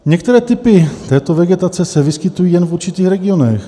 Některé typy této vegetace se vyskytují jen v určitých regionech.